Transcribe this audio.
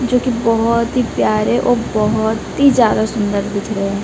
जोकि बहोत ही प्यारे और बहोत ही ज्यादा सुंदर दिख रहे--